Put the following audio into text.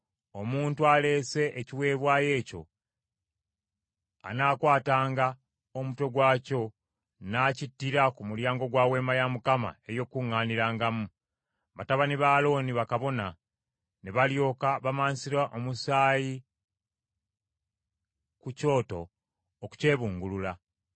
Omuntu aleese ekiweebwayo ekyo anaakwatanga omutwe gwakyo n’akittira ku mulyango gwa Weema ey’Okukuŋŋaanirangamu; batabani ba Alooni, bakabona, ne balyoka bamansira omusaayi ku kyoto okukyebungulula.